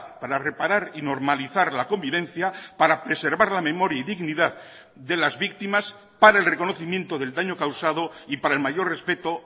para reparar y normalizar la convivencia para preservar la memoria y dignidad de las víctimas para el reconocimiento del daño causado y para el mayor respeto